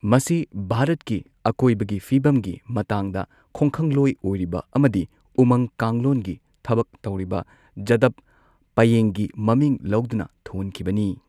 ꯃꯁꯤ ꯚꯥꯔꯠꯀꯤ ꯑꯀꯣꯏꯕꯒꯤ ꯐꯤꯚꯝꯒꯤ ꯃꯇꯥꯡꯗ ꯈꯣꯡꯈꯪꯂꯣꯏ ꯑꯣꯏꯔꯤꯕ ꯑꯃꯗꯤ ꯎꯃꯪ ꯀꯥꯡꯂꯣꯟꯒꯤ ꯊꯕꯛ ꯇꯧꯔꯤꯕ ꯖꯥꯗꯞ ꯄꯥꯌꯦꯡꯒꯤ ꯃꯃꯤꯡ ꯂꯧꯗꯨꯅ ꯊꯣꯟꯈꯤꯕꯅꯤ꯫